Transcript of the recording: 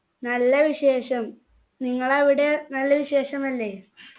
നല്ല വിശേഷം നിങ്ങളവിടെ നല്ല വിശേഷമല്ലേ